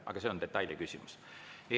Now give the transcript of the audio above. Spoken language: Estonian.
Aga see on detailiküsimus.